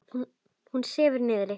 Hún sefur niðri.